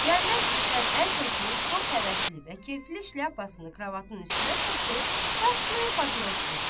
İsgəndər itdən əl çəkib, çox həvəsli və keyfli işlə pasını kravatın üstünə çırpıb, başlayır papiros çəkməyə.